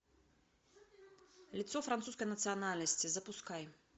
лицо французской национальности запускай